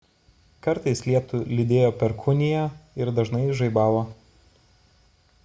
kartais lietų lydėjo perkūnija ir dažnai žaibavo